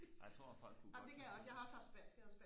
jeg tror folk kunne godt forstå